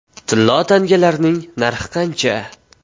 Tillo tangalarning narxi qancha?